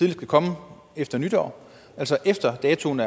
kan komme efter nytår altså efter datoen